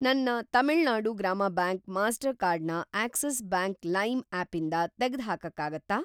ನನ್ನ ತಮಿಳ್‌ನಾಡು ಗ್ರಾಮ bank Mastercard ನ ಆಕ್ಸಿಸ್‌ ಬ್ಯಾಂಕ್‌ ಲೈಮ್ ಆಪಿಂದ ತೆಗ್ಡ್‌ಹಾಕಕ್ಕಾಗತ್ತಾ?